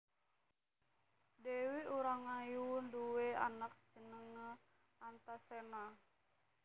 Dèwi Urangayu nduwé anak jenengé Antasena